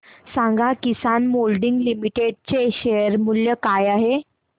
सांगा Kisan Moulding Limited चे share मूल्य काय आहे